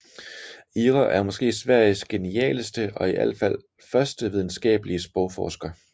Ihre er måske Sveriges genialeste og i alt fald første videnskabelige sprogforsker